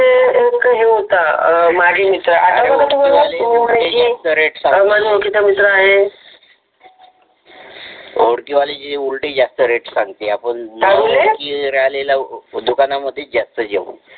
एक हे होता माझ्या ओळखीचा मित्र आहे.